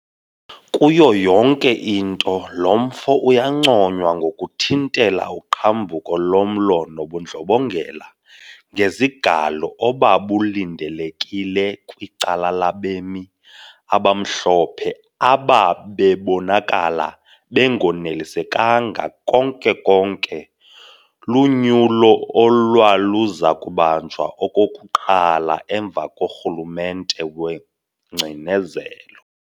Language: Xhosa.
Kuyo yonke into lo mfo uyanconywa ngokuthintela uqhambuko lomlo nobundlobongela ngezigalo obabulindelekile kwicala labemi abamhlophe ababebonakala bengonelisekanga konke-konke lunyulo olwaluzakubanjwa okokuqala emva korhulumente wengcinezelo.